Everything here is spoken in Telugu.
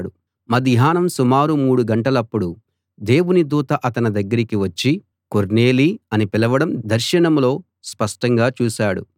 మధ్యాహ్నం సుమారు మూడు గంటలప్పుడు దేవుని దూత అతని దగ్గరికి వచ్చి కొర్నేలీ అని పిలవడం దర్శనంలో స్పష్టంగా చూశాడు